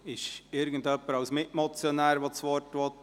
Wünscht irgendjemand das Wort als Mitmotionär?